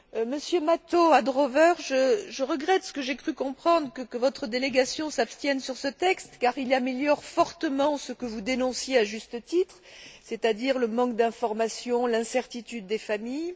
Monsieur Mato Adrover, je regrette ce que j'ai cru comprendre que votre délégation s'abstienne sur ce texte car il améliore fortement ce que vous dénonciez à juste titre, c'est à dire le manque d'information, l'incertitude des familles.